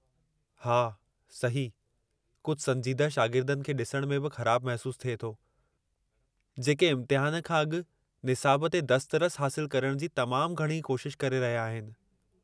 हा, सही, कुझु संजीदह शागिर्दनि खे ॾिसण में बि ख़राबु महसूस थिए थो जेके इम्तिहान खां अॻु निसाब ते दस्तरस हासिलु करण जी तमामु घणी कोशिश करे रहिया आहिनि।